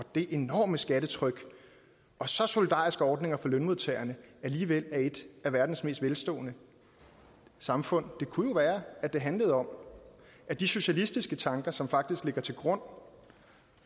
det enorme skattetryk og så solidariske ordninger for lønmodtagerne alligevel er et af verdens mest velstående samfund det kunne jo være det handlede om at de socialistiske tanker som faktisk ligger til grund